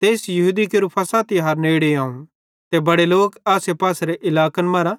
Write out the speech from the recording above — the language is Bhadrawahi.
तेइस यहूदी केरू फ़सह तिहार नेड़े आव ते बड़े लोक आसेपासेरे इलाकन मरां